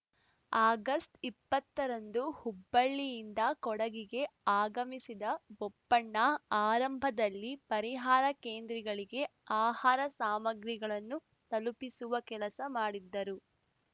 ಆಗಸ್ಟ್ಇಪ್ಪತ್ತರಂದು ಹುಬ್ಬಳ್ಳಿಯಿಂದ ಕೊಡಗಿಗೆ ಆಗಮಿಸಿದ ಬೋಪಣ್ಣ ಆರಂಭದಲ್ಲಿ ಪರಿಹಾರ ಕೇಂದ್ರಿಗಳಿಗೆ ಆಹಾರ ಸಾಮಗ್ರಿಗಳನ್ನು ತಲುಪಿಸುವ ಕೆಲಸ ಮಾಡಿದ್ದರು